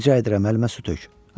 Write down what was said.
Rica edirəm, əlimə su tök.